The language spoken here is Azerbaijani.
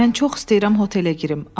Mən çox istəyirəm otelə girim.